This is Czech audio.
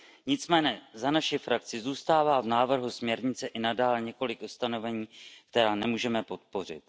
Nicméně za naši frakci zůstává v návrhu směrnice i nadále několik ustanovení, která nemůžeme podpořit.